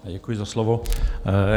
Děkuji za slovo.